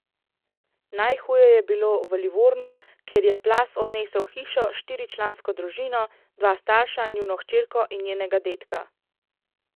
Najhuje je bilo v Livornu, kjer je plaz odnesel hišo s štiričlansko družino, dva starša, njuno hčerko in njenega dedka.